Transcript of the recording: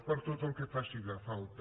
per a tot el que faci falta